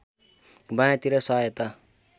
बायाँ तिर सहायता